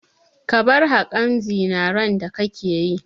Ka bar haƙin zinaren da kake yi!